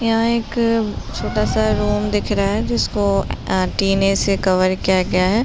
यहाँ एक छोटा सा रूम दिख रहा है। जिसको एं टीने से कवर किया गया है।